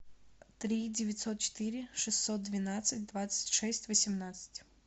три девятьсот четыре шестьсот двенадцать двадцать шесть восемнадцать